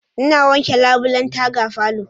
Ina wanke labulen taga falo.